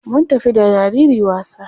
Mun tafi da jariri wasa.